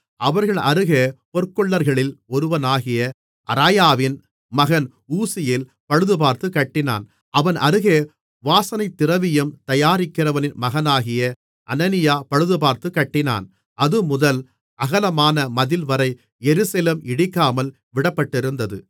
அவர்கள் அருகே பொற்கொல்லர்களில் ஒருவனாகிய அராயாவின் மகன் ஊசியேல் பழுதுபார்த்துக் கட்டினான் அவன் அருகே வாசனைத்திரவியம் தயாரிக்கிறவனின் மகனாகிய அனனியா பழுதுபார்த்துக்கட்டினான் அதுமுதல் அகலமான மதில்வரை எருசலேம் இடிக்காமல் விடப்பட்டிருந்தது